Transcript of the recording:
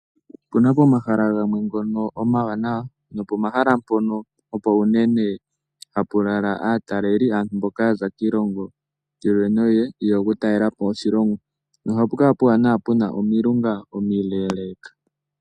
Opena pomahala mpoka omawanawa no po mahala mpono opo uunene hapu lala aataleli, aantu mboka yaza kiilongo yi ili noyi ili yeya okutalelapo oshilongo no ohapu kala pena omilunga omile.